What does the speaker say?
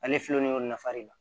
Ale filɛlen y'o nafa de la